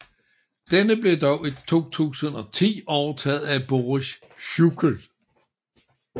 Denne blev dog i 2010 overtaget af Boris Schuchel